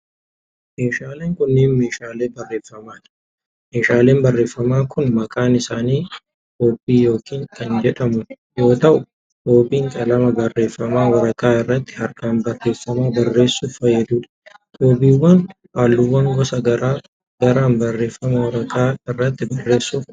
Meeshaaleen kunneen ,meeshaalee barreeffamaa dha. Meeshaaleen barreeffamaa kun maqaan isaanii koobbii kan jedhaman yoo ta'u, koobbiin qalama barreeffamaa waraqaa irratti harkaan barreeffama barreessuuf fayyaduu dha. Koobbiiwwan haalluuwwan gosa garaa garaan barreeffama waraqaa irratti barreessuuf oolu.